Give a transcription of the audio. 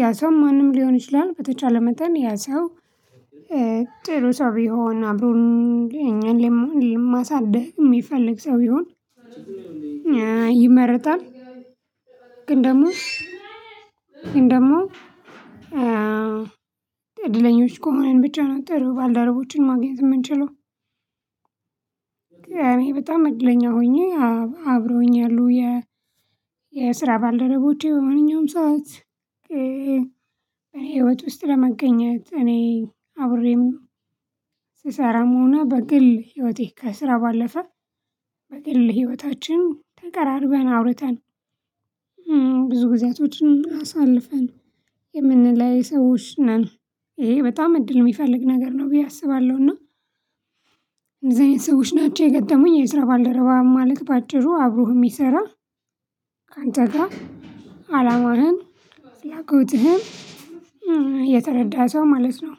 ያ ሰው ማንም ሊሆን ይችላል። በተቻለ መጠን ያ ሰው ጥሩ ሰው ቢሆን አብሮ እኛን የማሳድግ የሚፈልግ ሰው ቢሆን ይመረጣል። ግን ደግሞ ግን ደግሞ እድለኞች ከሆነን ብቻ ነው ጥሩ ባልደረቦችን ማግኘት የምንችለው። እኔ በጣም እድለኛ ሆኜ አብሮኝ ያሉ የ የስራ ባልደረቦቼ በማንኛውም ሰዓት እኔ ህይወት ውስጥ ለመገኘት እኔ አብሬም ስሰራም ሆኘ በግል ህይወቴ ከስራ ባለፈ በግል ህይወታችን ተቀራርበን አውርተን ብዙ ጊዜያቶችን አሳልፈን የምንለይ ሰዎች ነን። ይሄ በጣም እድል የሚፈልግ ነገር ነው ብዬ አስባለሁ። እና እንደዚህ አይነት ሰዎች ናቸው የገጠሙኝ የስራ ባልደረባ ማለት በአጭሩ አብሮህ የሚሰራ። ካንተ ግራ አላማህን ፍላጎትህን የተረዳ ሰው ማለት ነው።